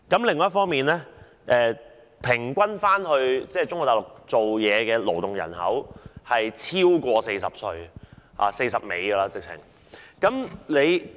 另一方面，前往中國大陸工作的勞動人口平均年齡超過40歲甚或快將50歲。